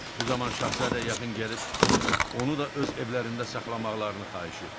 Bu zaman şahzadə yaxın gəlib onu da öz evlərində saxlamaqlarını xahiş etdi.